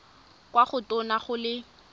kwa go tona go le